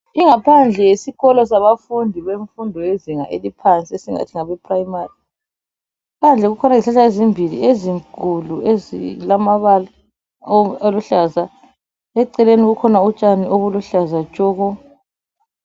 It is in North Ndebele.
ingaphandele yesikolo semfundo yezinga eliphansi esingathi ngabe primary phandle kukhona izihlahla ezimbili ezinkulu ezilamabala aluhlaza eceleni kukhona utshani obuluhlaza tshoko